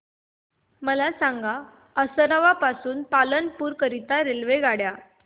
मला सांगा असरवा पासून पालनपुर करीता रेल्वेगाड्या